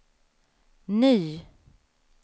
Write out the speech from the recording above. ny